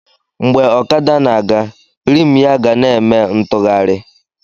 Mgbe ọkada na-aga, rimụ ya ga na-eme ntụgharị